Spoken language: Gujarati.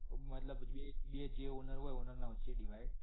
મતલબ બે જે owner હોયને owner ના વચ્ચે divide